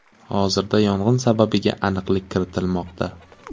Hozirda yong‘in sababiga aniqlik kiritilmoqda.